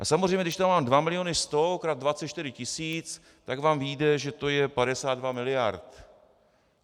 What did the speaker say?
A samozřejmě když tam mám 2 miliony 100 krát 24 tisíc, tak vám vyjde, že to je 52 miliard.